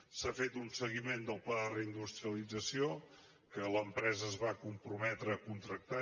s’ha fet un seguiment del pla de re· industrialització que l’empresa es va comprometre a contractar